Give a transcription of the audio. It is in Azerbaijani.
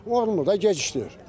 Olmur da gecikdirir.